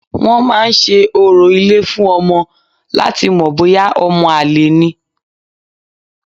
Wọ́n máa ń se orò ilé fún ọmọ láti mọ̀ bóyá ọmọ àlè ni